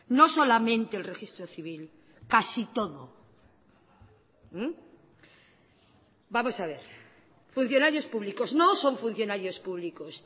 no solamente el registro civil casi todo vamos a ver funcionarios públicos no son funcionarios públicos